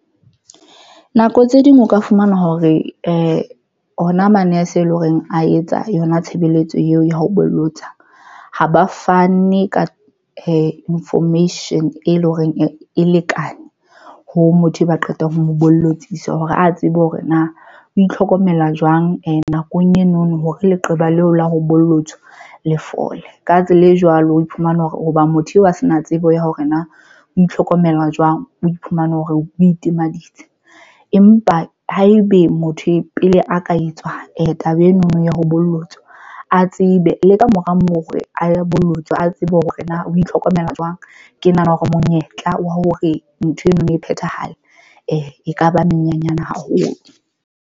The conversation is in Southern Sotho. Nako tse ding o ka fumana hore hona manese, e leng horeng a etsa yona tshebeletso eo ya ho bolotsa ha ba fane ka information e leng hore e lekane ho motho e ba qetang ho mo bolotswa hore a tsebe hore na o itlhokomela jwang. And nakong eno no hore leqeba leo la ho bolotswa le fole ka tsela e jwalo, o iphumana hore hoba motho eo a se na tsebo ya hore na ho itlhokomela jwang, o iphumane hore o itimaditse empa haebe motho pele a ka etswa taba eno no ya ho bollotswa a tsebe le ka kamora moo re a bolotswe, a tsebe hore na o itlhokomela jwang. Ke nahana hore monyetla wa hore ntho eno e phethahala, e kaba menyenyane haholo.